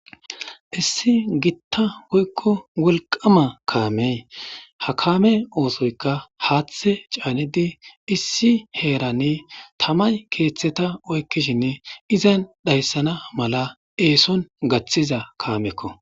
Issi gita woyko wolqama kame ha kame osoyka hathe canidi issi heran tamay ketheta oykishin izan dhaysan mala eson gathiza kameko